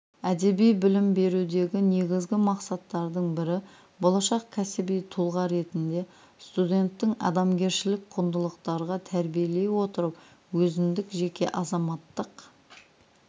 әдеби білім берудегі негізгі мақсаттардың бірі болашақ кәсіби тұлға ретінде студенттің адамгершілік құндылықтарға тәрбиелей отырып өзіндік жеке азаматтық